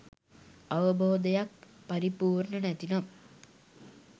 අවබෝධයක් පරිපූර්ණ නැතිනම්